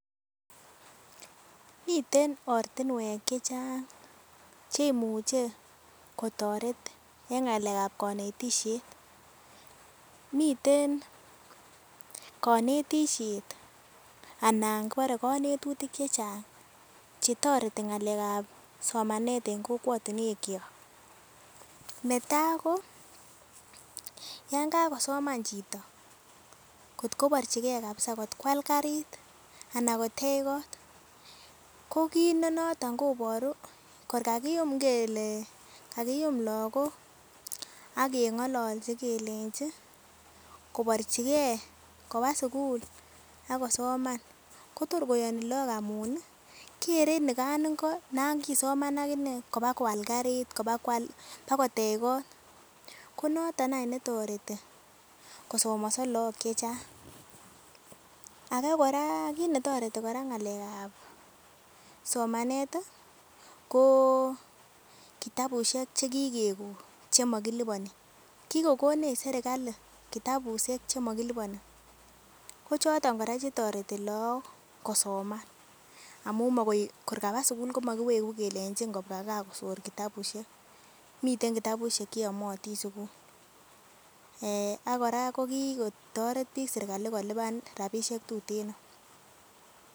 Miten ortinwek chechang cheimuche kotoret en ngalekab konetishet miten konetishet ana kibore konetutik chechang chetoreti ngalekab somanet en kokwotinwek kyok. Netai ko yon kakosoman chito kotko borchigee kabisa kot kwal karit anan kotei kot ko kit nenoton koboru kor kakiyum ngele kakiyum lokok ak kengololchi kelenchi kiborchigee koba sukul ak kosoman Kotor koyoni lok amun nii okere nikan ingo non kosoman akinee kobakwal karit kobawak bakotai kot, ko noton any netoreti kosomoso lok chechang. Age koraa kot netoreti Koraa ngalekab somanet tii ko kitabushek chekikekon chemokiliboni, kikokonech sirkali kitabushek chemokiliponi ko choton Koraa chetoreti lok kosoman amun makoi major kaba sukul komokiwegu kelenji kobwa gaa kosor kitabushek, miten kitabushek cheyomotin sukul ak Koraa kokikotoret bik serkali kotoret bik serkali kolipani rabishek tuteno.